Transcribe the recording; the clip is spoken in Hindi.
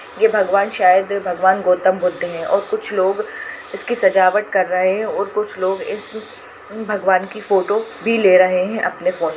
ये भगवान शायद भगवान गौतम बुद्ध है और कुछ लोग इसकी सजावट कर रहे है और कुछ लोग इस भगवान की फोटो भी ले रहे है अपने फोन --